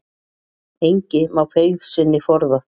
Engi má feigð sinni forða.